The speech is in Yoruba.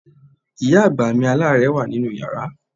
Ìyá àgbà mi aláàárẹ̀ wà nínú yàrá.